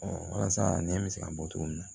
walasa nɛ bɛ se ka bɔ cogo min na